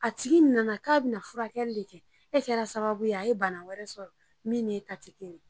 A tigi nana k'a be na furakɛli le kɛ e kɛra sababu a ye bana wɛrɛ sɔrɔ min n'e ta ti kelen